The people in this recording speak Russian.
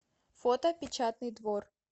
фото печатный двор